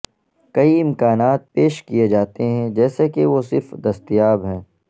کئی امکانات پیش کئے جاتے ہیں جیسے کہ وہ صرف دستیاب ہیں